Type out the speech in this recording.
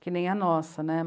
Que nem a nossa, né?